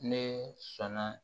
Ne sɔnna